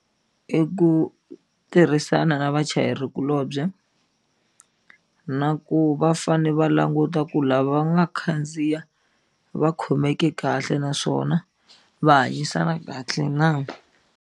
I ku tirhisana na vachayerikulobye na ku va fane va languta ku lava va nga khandziya va khomeke kahle naswona va hanyisana kahle .